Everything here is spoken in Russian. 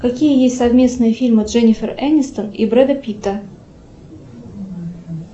какие есть совместные фильмы дженифер энистон и бреда питта